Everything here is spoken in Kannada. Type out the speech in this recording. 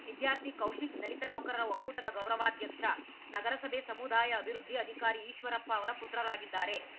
ವಿದ್ಯಾರ್ಥಿ ಕೌಶಿಕ್‌ ದಲಿತ ನೌಕರರ ಒಕ್ಕೂಟದ ಗೌರವಾಧ್ಯಕ್ಷ ನಗರಸಭೆ ಸಮುದಾಯ ಅಭಿವೃದ್ಧಿ ಅಧಿಕಾರಿ ಈಶ್ವರಪ್ಪ ಅವರ ಪುತ್ರರಾಗಿದ್ದಾರೆ